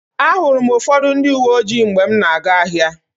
Ahụrụ m ụfọdụ ndị uwe ojii mgbe m na-aga ahịa.